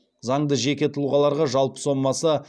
заңды жеке тұлғаларға жалпы сомасы